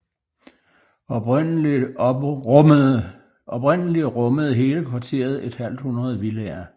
Oprindeligt rummede hele kvarteret et halvt hundrede villaer